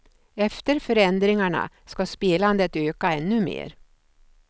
Efter förändringarna ska spelandet öka ännu mer.